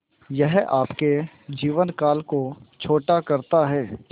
यह आपके जीवन काल को छोटा करता है